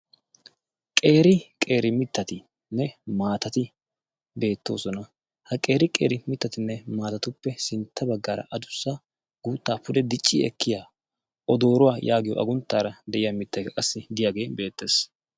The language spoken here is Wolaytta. qeeri qeeri mittatinne maatati beettoosona. ha qeeri qeeri mittatinne maatatuppe sintta baggaara adussa guuttaa pude dicci ekkiya o dooruwaa' yaagiyo agunttaara de'iya mittayka qassi diyaagee beettees.